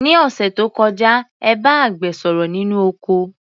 Ní òṣẹ̀ tó kọjá, ẹ bá àgbẹ̀ sọ̀rọ̀ nínú oko.